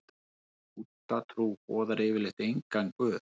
Búddatrú boðar yfirleitt engan guð.